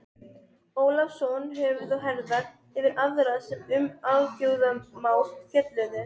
segir í lofkvæði um einn fyrsta héraðsskólann.